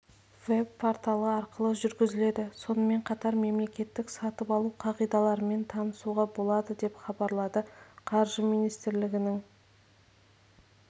веб-порталы арқылы жүргізіледі сонымен қатар мемлекеттік сатып алу қағидаларымен танысуға болады деп хабарлады қаржы министрлігінің